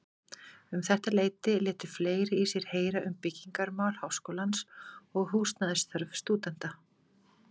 Um þetta leyti létu fleiri í sér heyra um byggingarmál Háskólans og húsnæðisþörf stúdenta.